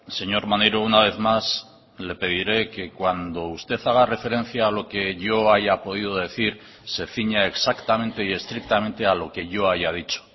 señor maneiro una vez más le pediré que cuando usted haga referencia a lo que yo haya podido decir se ciña exactamente y estrictamente a lo que yo haya dicho